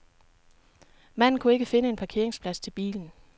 Manden kunne ikke finde en parkeringsplads til bilen.